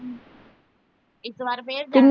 ਇੱਕ ਵਾਰ ਫਿਰ ਜਾ